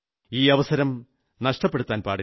ഈ അവസരം നഷ്ടപ്പെടുത്താൻ പാടില്ല